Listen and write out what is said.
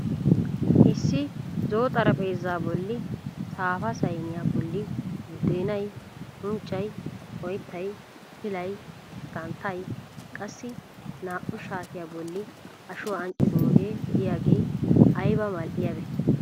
Issi zo'o xarapheezaa bolli saafa sayiniya bolli buddeenay, unccay, oyittay, pilay, santtay, qassi naa"u shaatiya bolli ashuwa anccidooge diyage ayiba mal'iyaabee!